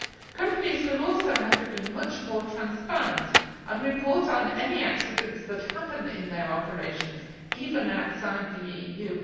Companies will also have to be much more transparent and report on any accidents that happen in their operations, even outside the EU.